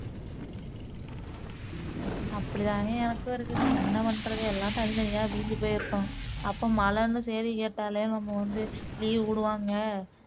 அப்படிதாங்க எனக்கும் இருக்குது என்ன பண்றது எல்லாம் தனி தனியா பிரிஞ்சு போய் இருக்கோம் அப்போ மழைன்னு சேதி கேட்டேலே நம்ம வந்து leave விடுவாங்க